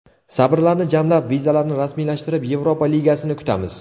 Sabrlarni jamlab, vizalarni rasmiylashtirib, Yevropa ligasini kutamiz”.